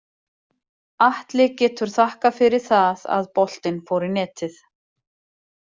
Atli getur þakkað fyrir það að boltinn fór í netið.